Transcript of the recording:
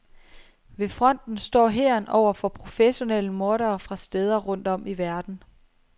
Ved fronten står hæren over for professionelle mordere fra steder rundt om i verden.